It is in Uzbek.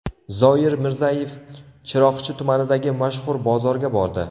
Zoir Mirzayev Chiroqchi tumanidagi mashhur bozorga bordi.